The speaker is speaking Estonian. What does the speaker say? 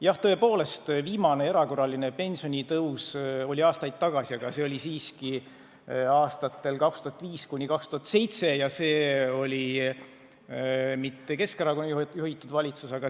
Jah, tõepoolest, viimane erakorraline pensionitõus oli aastaid tagasi, aga see oli siiski aastatel 2005–2007 ja siis polnud võimul mitte Keskerakonna juhitud valitsus.